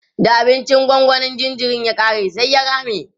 da abincin gongonin jinjirin ya ƙare sai ya rame